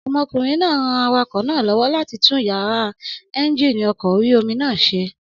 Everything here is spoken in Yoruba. Ọmọkùnrin náà ran awakọ̀ náà lọ́wọ́ láti tún yàrá éúnjínì ọkọ̀ orí-omi náà ṣe